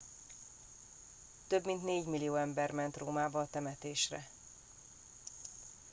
több mint négymillió ember ment rómába a temetésre